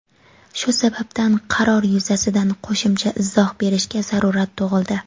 Shu sababdan qaror yuzasidan qo‘shimcha izoh berishga zarurat tug‘ildi.